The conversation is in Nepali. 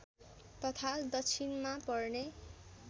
तथा दक्षिणमा पर्ने